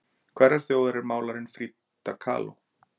Hverrar þjóðar var málarinn Frida Kahlo?